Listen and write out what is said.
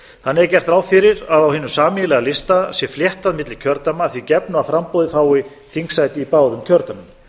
þannig er gert ráð fyrir að á hinum sameiginlega lista sé fléttað milli kjördæma að því gefnu að framboðið fái þingsæti í báðum kjördæmum